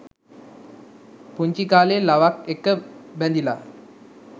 පුංචි කාලේ ලවක් එක්ක බැඳිලා